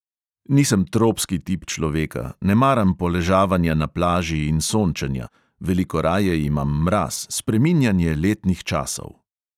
Nisem tropski tip človeka, ne maram poležavanja na plaži in sončenja, veliko raje imam mraz, spreminjanje letnih časov.